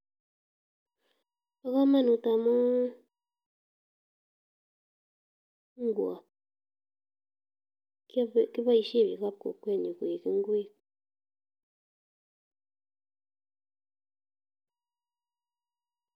Bokomonut amun ingwot keboishen biikab kokwenyun koik ingwek.